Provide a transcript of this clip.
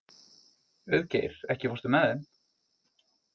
Auðgeir, ekki fórstu með þeim?